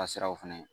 Ka siraw fɛnɛ